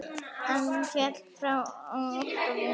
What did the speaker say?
Hann féll frá alltof ungur.